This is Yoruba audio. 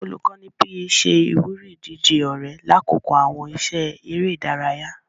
Olukọni PE ṣe ìwúrí ìdíje ọrẹ lakoko awọn iṣẹ eré ìdárayá.